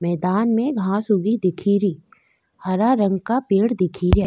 मैदान में घांस उगी दिखेरी हरा रंग का पेड़ दिखेरा।